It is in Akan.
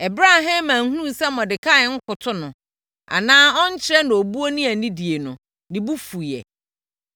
Ɛberɛ a Haman hunuu sɛ Mordekai nkoto no, anaa ɔnnkyerɛ no obuo ne anidie no, ne bo fuiɛ.